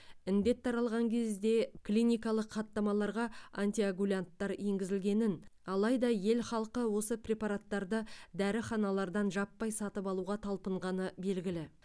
індет таралған кезде клиникалық хаттамаларға антикоагулянттар енгізілгенін алайда ел халқы осы препараттарды дәріханалардан жаппай сатып алуға талпынғаны белгілі